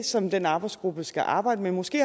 som den arbejdsgruppe skal arbejde med måske